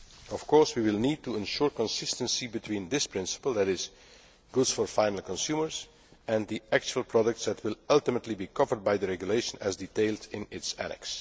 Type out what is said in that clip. Of course, we will need to ensure consistency between this principle namely goods for final consumers' and the actual products that will ultimately be covered by the regulation, as detailed in its annex.